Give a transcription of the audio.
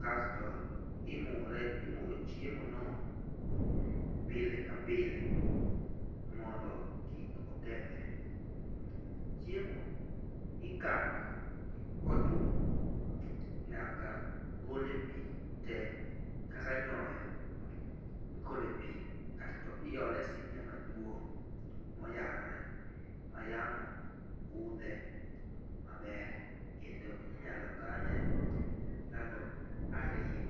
kasto imure imuro chiemono pile ka pile mondo kik okethre. Chiemo ikano kotuo nyaka gol e pii tee kaka nyoyo igelo pii kasto iole sinia maduong' moyayore mayamo kudhe maber kendo inyalo kane ndalo ariyo .